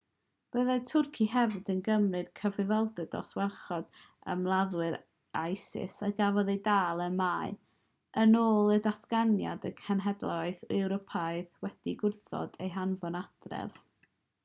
byddai twrci hefyd yn cymryd cyfrifoldeb dros warchod ymladdwyr isis a gafodd eu dal y mae yn ôl y datganiad y cenhedloedd ewropeaidd wedi gwrthod eu hanfon adref